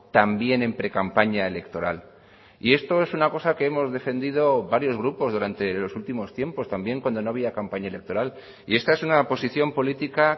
también en precampaña electoral y esto es una cosa que hemos defendido varios grupos durante los últimos tiempos también cuando no había campaña electoral y esta es una posición política